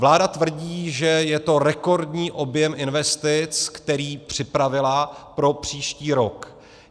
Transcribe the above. Vláda tvrdí, že je to rekordní objem investic, který připravila pro příští rok.